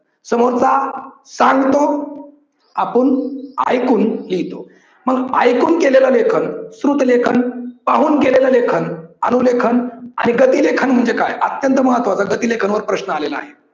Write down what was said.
समोरचा सांगतो आपण ऐकून लिहितो. मग ऐकून केलेलं लेखन श्रुत लेख पाहून केलेलं लेखन अनु लेखन आणि गती लेखन म्हणजे काय अत्यंत महत्वाच गती लेखन वर प्रश्न आलेला आहे.